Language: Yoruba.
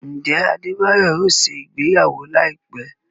Njẹ Adebayo ọ ṣe ìgbéyàwó laipẹ?